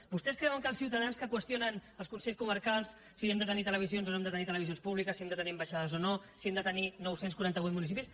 vostès creuen que els ciutadans que qüestionen els consells comarcals si hem de tenir televisions o no hem de tenir televisions públiques si hem de tenir ambaixades o no si hem de tenir nou cents i quaranta vuit municipis